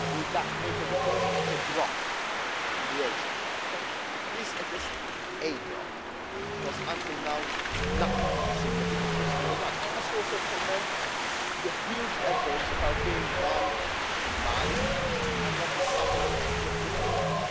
Will that make a difference? It is a drop in the ocean, but at least it is a drop because, until now, nothing significant was being done. I must also commend the huge efforts that are being made in Mali and at the southern Libyan border.